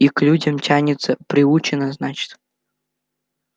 и к людям тянется приучена значит